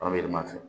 Anw bɛ yɛlɛma fɛ